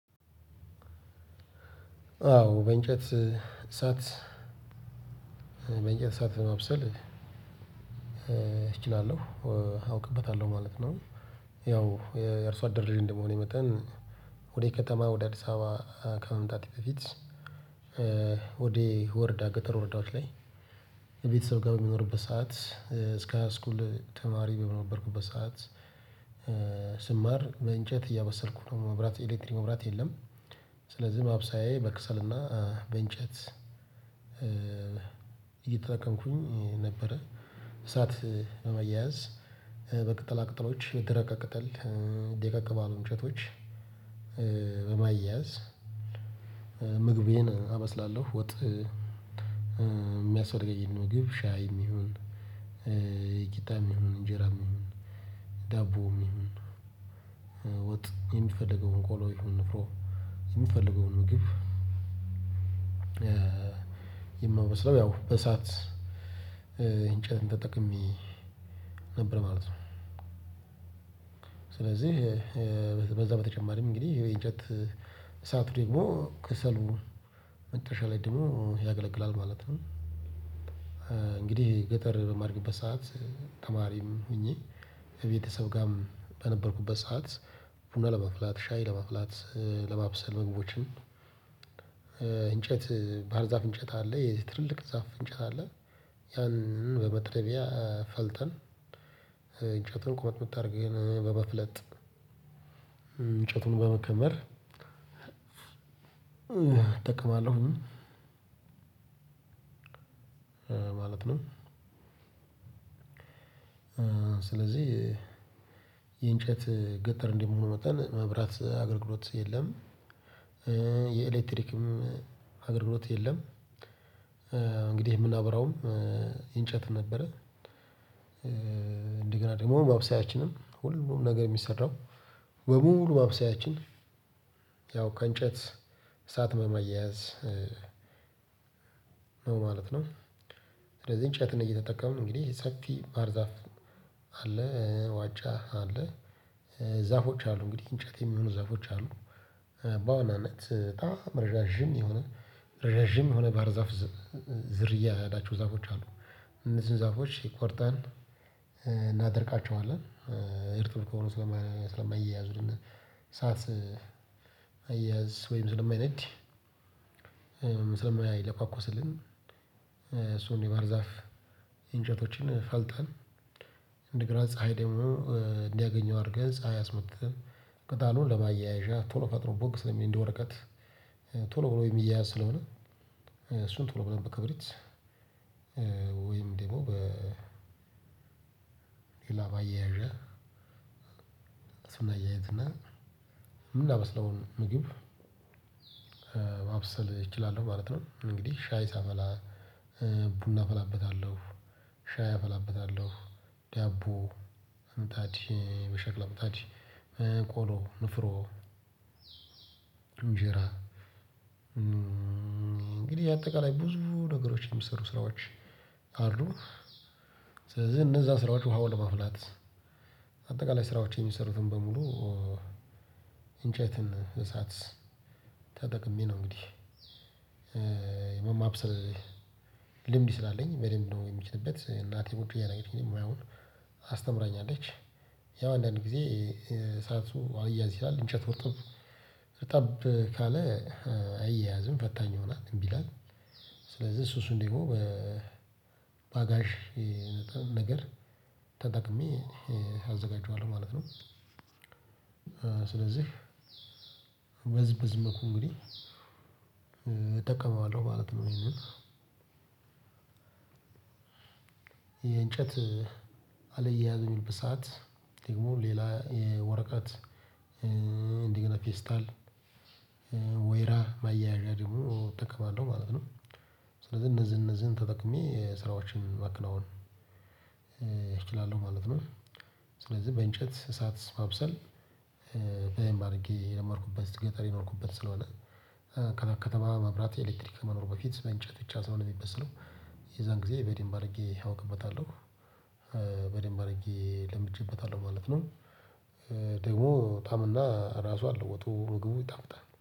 አዎ በእንጨት እሳት በእንጨት እሳት ማብሰል እችላለሁ አውቅበታለሁ ማለት ነው። ያው የአርሶ አደል ልጅ እንደመሆኔ መጠን ወደ ከተማ ወደ አዲስ አበባ ከመምጣቴ በፊት። ወደ ወረዳ ገጠር ወረዳዎች ላይ ቤተሰብ ጋር በምኖርበት ሰዓት እስከ ሃይ ስኩል ተማሪ በነበርኩበት ሰዓት ስማር በእንጨት እያበሰልኩ ነው መብራት ኤሌክትሪክ መብራት የለም። ማብሳያዬ በከሰልና በእንጨት እየተጠቀምኩኝ ነበረ። እሳት ለማያያዝ በቅጠላ ቅጠሎች የደረቀ ቅጠል ደቀቅ ባሉ እንጨቶች በማያያዝ ምግቤን አበስላለሁ ወጥ። የሚያስፈልገኝን ምግብ ሻይም ይሁን ቂጣም ይሁን እንጀራም ይሁን ዳቦም ይሁን ወጥ የምንፈልገውን ቆሎ ይሁን ንፍሮ የምንፈልገውን ምግብ። የማበስለው ያው በእሳት እንጨት ተጠቅሜ ነበር ማለት ነው። ስለዚህ በዛ በተጨማሪም እንግዲህ የእንጨት እሳቱ ደግሞ ከሰሉ መጨረሻ ላይ ደግሞ ያገለግላል ማለት ነው። እንግዲህ ገጠር በማድግበት ሰዓት ተማሪም ሆኜ ከቤተሰብ ጋርም በነበርኩበት ሰዓት ቡና ለመፍላት ሻይ ለመፍላት ለማብሰል ምግቦችን። እንጨት ባህር ዛፍ እንጨት አለ የትልልቅ ዛፍ እንጨት አለ ያንን በመጥረቢያ ፈልጠን እንጨቱን ቁመት ቁመት አርገን በመፍለጥ እንጨቱን በመከመር እጠቅማለሁ። ማለት ነው። ስለዚህ የእንጨት ገጠር እንደመሆኑ መጠን መብራት አገልግሎት የለም። የኤሌክትሪክም አገልግሎት የለም። እንግዲህ የምናበራውም እንጨት ነበረ። እንደገና ደግሞ ማብሰያችንም ሁሉ ሙሉ ነገር የሚሰራው በሙሉ ማብሰያችን ያው ከእንጨት እሳት በማያያዝ ነው። ስለዚህ እንጨትን እየተጠቀሙ ነው እንግዲህ ሰፊ ባህር ዛፍ አለ ዋቻ አለ ዛፎች አሉ እንግዲህ እንጨት የሚሆኑ ዛፎች አሉ። በአሁኑ አመት በጣም ረጃጅምም የሆነ ረጃጅም የሆነ ባህር ዛፍ ዝርያ ያላቸው ዛፎች አሉ። እነዚህን ዛፎች ቆርጠን እናደርቃቸዋለን። እርጥብ ከሆኑ ስለማይያያዙልን እሳት መያዝ ወይም ስለማይነድ። ስለማይለኳኮስልንም እሱን የባህር ዛፍ እንጨቶችን ፈልጠን እንደገና ፀሀይ ደግሞ እንዲያገኘው አድርገን ፀሀይ አስመትተን ቅጠሉን ለማያያዣ ቶሎ ፈጥኖ ቦግ ስለሚል እንደ ወረቀት ቶሎ ብሎ የሚያያዝ ስለሆነ። እሱን ቶሎ ብለን በክብሪት ወይም ደግሞ በ ሌላ ማያያዣ እሱን እናያይዝ እና ምናበስለውን ምግብ። ማብሰል እችላለሁ ማለት ነው። እንግዲህ ሻይ ሳፈላ ቡና አፈላበታለሁ ሻይ አፈላበታለሁ ዳቦ ምጣድ በሸክላ ምጣድ ቆሎ ንፍሮ እንጀራ እንግዲህ የአጠቃላይ ብዙ ነገሮችን የሚሰሩ ስራዎች አሉ። ስለዚህ እነዛ ስራዎች ውሃ ለማፍላት አጠቃላይ ስራዎች የሚሰሩትን በሙሉ እንጨትን እሳት ተጠቅሜ ነው። እንግዲህ ማብሰል ልምድ ስላለኝ በደንብ ነው የሚችልበት እናቴ ቁጭ እያደረገኝ ሙያውን አስተምራኛለች። ያው አንዳንድ ጊዜ እሳቱ አልያያዝ ይላል እንጨት እርጥብ ረጠብ ካለ አያያዝም ፈታኝ ሆናል እምቢ ይላል። ስለዚህ እሱ እሱን ደግሞ በባጋሽ ነገር ተጠቅሜ አዘጋጀዋለሁ ማለት ነው። ስለዚህ በዚህ በዚህ መልኩ እንግዲህ እጠቀመዋለሁ ማለት ነው። ይሄንን የእንጨት አልያያዝ በሚልበት ሰዓት ደግሞ ሌላ ወረቀት እንደገና ፌስታል ወይራ ማያያዣ ደግሞ እጠቀማለው ማለት ነው። ስለዚህ እነዚህን እነዚህን ተጠቅሜ ስራዎችን ማከናወን እችላለሁ ማለት ነው። ስለዚህ በእንጨት እሳት ማብሰል በደምብ አድርጌ የለመድኩበት ገጠር የኖርኩበት ስለሆነ ከተማ መብራት ኤሌክትሪክ ከመኖሩ በፊት በእንጨት ብቻ ስለሆነ የሚበስለው የዛን ጊዜ በደንብ አድርጌ አውቅበታለሁ። በደንብ አድርጌ ለምጄበታለሁ ማለት ነው። ደግሞ ጣዕም ራሱ አለው ወጡ ምግቡ ይጣፍጣል